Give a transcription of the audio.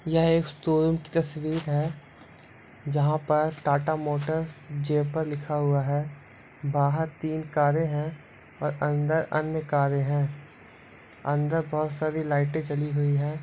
यह एक स्टोर की तस्वीर है जहा पर टाटा मोटर्स जयपुर लिखा हुआ है बहार तीन कारे है और अंदर अन्य कारें है अंदर बहोत सारी लाइट जली हुई है।